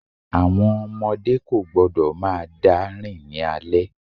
Àwọn ọmọdé kò gbọ́dọ̀ máa dá rìn ní alẹ́.